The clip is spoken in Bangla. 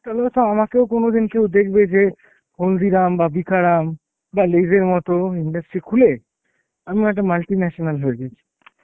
তাহলে হয়তো আমাকেও কোনদিন কেউ দেখবে যে হলদিরাম বা ভিকারাম বা lays এর মত industry খুলে আমিও একটা multi national হয়ে গেছি.